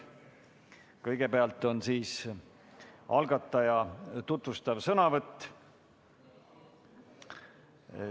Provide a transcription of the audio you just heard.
Kõigepealt on algataja tutvustav sõnavõtt.